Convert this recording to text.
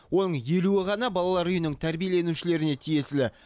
оның елуі ғана балалар үйінің тәрбиеленушілеріне тиесілі